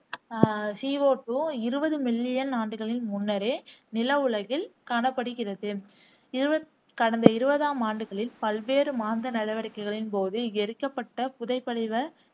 அஹ் C O two இருவது million ஆண்டுகளின் முன்னரே நிலவுலகில் காணப்படுகிறது இருவ கடந்த இருவதாம் ஆண்டுகளில் பல்வேறு மாந்த நடவடிக்கைகளின் போது எரிக்கப்பட்ட புதை படிவ